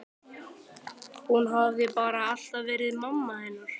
Hún hafði bara alltaf verið mamma hennar